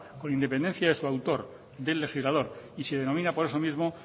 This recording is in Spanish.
con independencia de su autor del legislador y se denomina por eso mismo